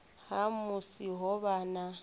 ha musi ho vha na